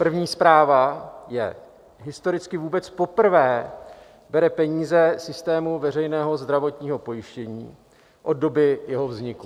První zpráva je: historicky vůbec poprvé bere peníze systému veřejného zdravotního pojištění od doby jeho vzniku.